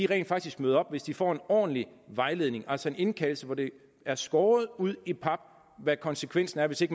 rent faktisk møder op hvis de får en ordentlig vejledning altså en indkaldelse hvor det er skåret ud i pap hvad konsekvensen er hvis de